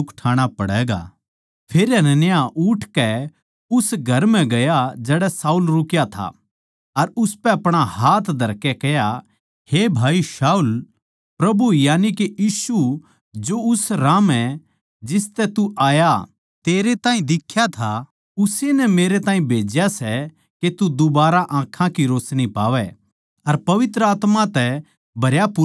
फेर हनन्याह उठकै उस घर म्ह गया जड़ै शाऊल रुक्या था अर उसपै अपणा हाथ धरकै कह्या हे भाई शाऊल प्रभु यानिके यीशु जो उस राह म्ह जिसतै तू आया तेरै ताहीं दिखया था उस्से नै मेरै ताहीं भेज्या सै के तू दुबारा आँखां की रोशनी पावै अर पवित्र आत्मा तै भरयापूरा हो जावै